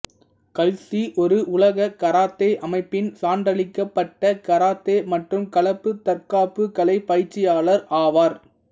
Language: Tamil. கல்சி ஒரு உலக கராத்தே அமைப்பின் சான்றளிக்கப்பட்ட கராத்தே மற்றும் கலப்பு தற்காப்பு கலை பயிற்சியாளர் ஆவார்